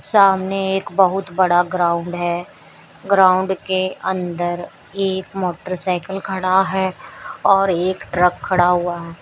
सामने एक बहुत बड़ा ग्राउंड है ग्राउंड के अंदर एक मोटरसाइकल खड़ा है और एक ट्रक खड़ा हुआ है।